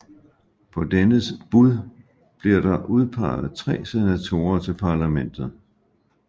På dennes bud bliver der udpeget tre senatorer til parlamentet